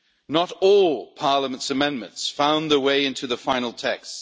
Not all of Parliament's amendments found their way into the final text.